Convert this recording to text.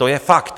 To je fakt!